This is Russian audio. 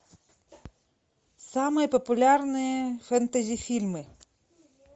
самые популярные фэнтези фильмы